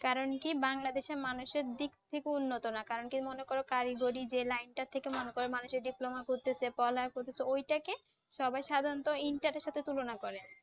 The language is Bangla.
কারণ কি Bangladesh এর মানুষের দিক থেকে উন্নত না কারণ কি মনে করো কারিগরি যে লাইনটা থেকে মনে কর। মানুষের যে Diploma করতেছে পড়ালেখা করতেছে ওইটাকে সবাই সাধারণত ইন্টারের সাথে তুলনা করে